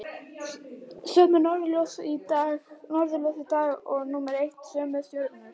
Sömu norðurljós og dag númer eitt, sömu stjörnur.